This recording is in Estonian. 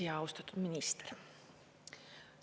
Ja austatud minister!